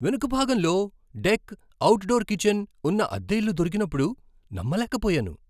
వెనుక భాగంలో deck, outdoor kitchen ఉన్న అద్దె ఇల్లు దొరికినప్పుడు నమ్మలేకపోయాను.